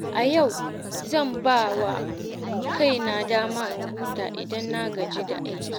A yau, zan ba kaina dama in huta idan na gaji da aiki.